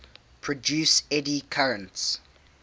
produce eddy currents